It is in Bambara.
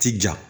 Ti ja